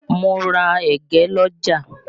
Mo ra ẹ̀gẹ́ l'ọ́jà